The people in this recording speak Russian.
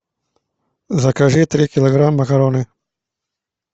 закажи три килограмма макароны